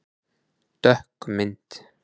Dökk mynd